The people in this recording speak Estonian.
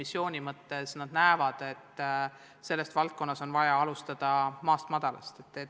Nad mõistavad, et sellest valdkonnas on vaja alustada maast-madalast.